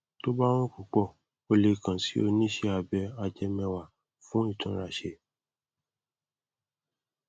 tó bá hàn púpọ o lè kàn sí oníṣẹ abẹ ajẹmẹwà fún ìtúnraṣé